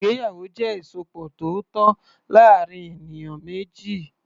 Ìgbéyàwó jẹ́ ìsopọ̀ tó tọ́ láàárín ènìyàn méjì.